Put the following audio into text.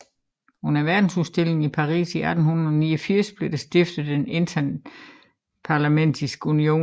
Under verdensudstillingen i Paris i 1889 blev der stiftet en interparlamentarisk union